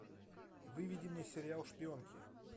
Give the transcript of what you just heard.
выведи мне сериал шпионки